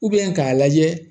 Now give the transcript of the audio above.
k'a lajɛ